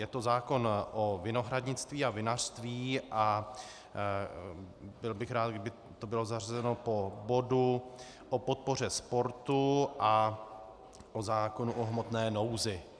Je to zákon o vinohradnictví a vinařství a byl bych rád, kdyby to bylo zařazeno po bodu o podpoře sportu a po zákonu o hmotné nouzi.